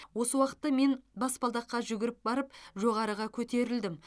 осы уақытта мен баспалдаққа жүгіріп барып жоғарыға көтерілдім